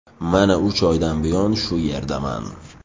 Mana uch oydan buyon shu yerdaman.